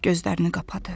Gözlərini qapadı.